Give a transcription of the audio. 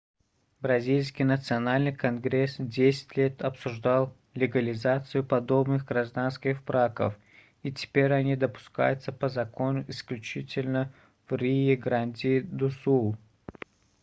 бразильский национальный конгресс десять лет обсуждал легализацию подобных гражданских браков и теперь они допускаются по закону исключительно в риу-гранди-ду-сул